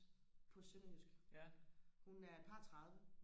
på sønderjysk hun er et par og tredive